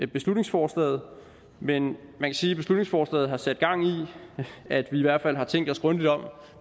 beslutningsforslaget men man kan sige at beslutningsforslaget har sat gang i at vi i hvert fald har tænkt os grundigt om